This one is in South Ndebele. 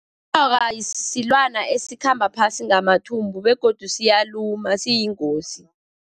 Inyoka silwana esikhamba phasi ngamathumbu, begodu siyaluma, siyingozi.